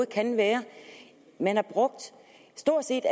kan være man har stort set